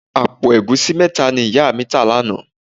Àpò ẹ̀gúsí mẹ́ta ni ìyá mi tà lánàá